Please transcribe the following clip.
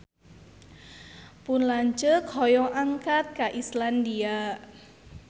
Pun lanceuk hoyong angkat ka Islandia